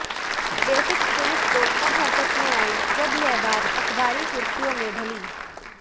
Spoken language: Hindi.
बेिफक्र पुलिस तो तब हरकत में आयी जब यह बात अखबारी सुॢखयों में ढली